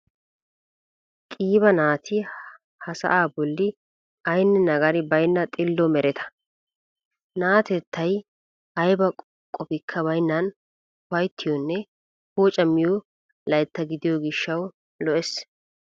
Qiiba naati ha sa"aa bolli aynne nagari baynna xillo mereta. Na'atettay ayba qofikka baynnan ufayttiyoonne poocamiyo layttaa gidiyo gishshawu lo"ees.